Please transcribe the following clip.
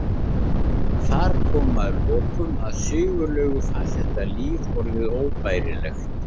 Þar kom að lokum að Sigurlaugu fannst þetta líf orðið óbærilegt.